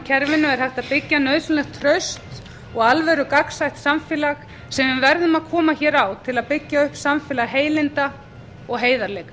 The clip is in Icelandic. kerfinu er hægt að byggja nauðsynlegt traust og alvöru gagnsætt samfélag sem við verðum að koma hér á til að byggja upp samfélag heilinda og heiðarleika